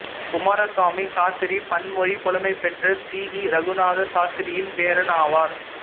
குமாரசாமி சாத்திரி பன்மொழிப் புலமைபெற்ற C V Ragunatha சாத்திரியின் பேரன் ஆவார்